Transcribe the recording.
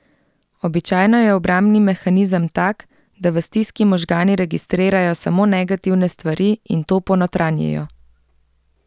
Običajno je obrambni mehanizem tak, da v stiski možgani registrirajo samo negativne stvari in to ponotranjijo.